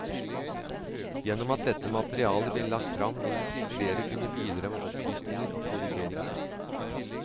Gjennom at dette materialet blir lagt fram vil flere kunne bidra med opplysninger og korrigeringer.